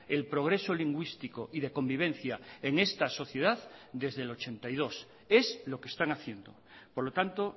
el progreso lingüístico y de convivencia en esta sociedad desde el ochenta y dos es lo que están haciendo por lo tanto